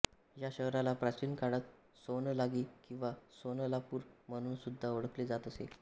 या शहराला प्राचीन काळात सोन्नलागी किंवा सोन्नलापूर म्हणूनसुद्धा ओळखले जात असे